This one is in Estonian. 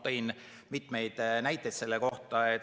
Tõin mitu näidet selle kohta.